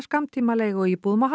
skammtíma leiguíbúðum á